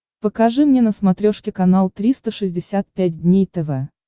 покажи мне на смотрешке канал триста шестьдесят пять дней тв